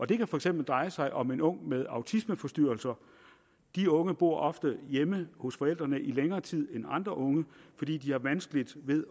det kan for eksempel dreje sig om en ung med autismeforstyrrelser disse unge bor ofte hjemme hos forældrene i længere tid end andre unge fordi de har vanskeligt ved